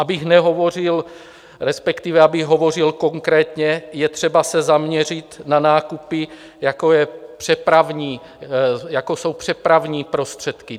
Abych nehovořil, respektive abych hovořil konkrétně, je třeba se zaměřit na nákupy, jako jsou přepravní prostředky.